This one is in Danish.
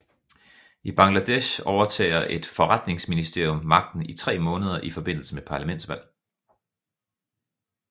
I Bangladesh overtager et forretningsministerium magten i tre måneder i forbindelse med parlamentsvalg